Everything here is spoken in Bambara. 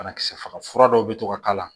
Banakisɛ faga fura dɔw bɛ to ka k'a la